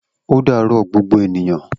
O daro gbogbo ènìyàn